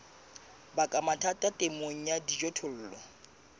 baka mathata temong ya dijothollo